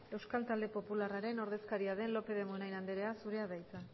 euskal talde popularraren ordezkaria den